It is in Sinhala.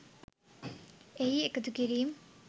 එහි එකතු කිරීම්